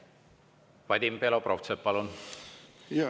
Vadim Belobrovtsev, palun!